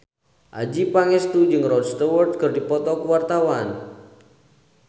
Adjie Pangestu jeung Rod Stewart keur dipoto ku wartawan